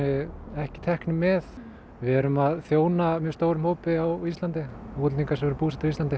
ekki teknir með við erum að þjóna mjög stórum hópi á Íslandi útlendingum sem eru búsettir á Íslandi